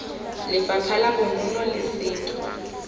lefapha la bonono le setho